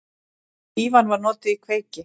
Fífan var notuð í kveiki.